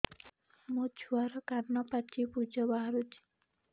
ମୋ ଛୁଆର କାନ ପାଚି ପୁଜ ବାହାରୁଛି